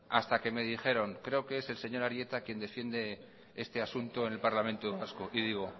hasta que me dijeron creo que es el señor arieta quien defiende este asunto en el parlamento vasco y digo